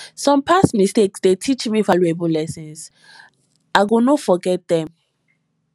some past mistakes dey teach me valuable lessons i go no forget dem